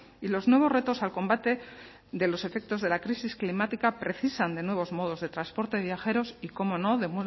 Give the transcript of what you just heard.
y los nuevos retos al combate de los efectos de la crisis climática precisan de nuevos modos de transporte de viajeros y cómo no de